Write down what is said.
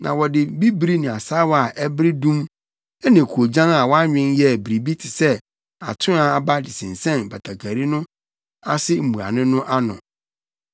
Na wɔde bibiri ne asaawa a ɛbere dum ne koogyan a wɔanwen yɛɛ biribi te sɛ atoaa aba de sensɛn batakari no ase mmuano no ano.